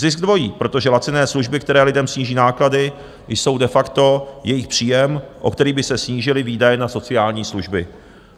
Zisk dvojí, protože laciné služby, které lidem sníží náklady, jsou de facto jejich příjem, o který by se snížily výdaje na sociální služby.